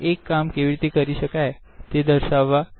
એક કામ કેવી રીતે કરી શકાય તે દ્ર્સવા